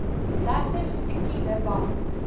regter fikile bam